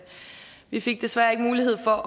vi fik desværre ikke mulighed for at